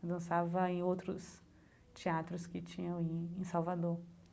dançava em outros teatros que tinham em Salvador.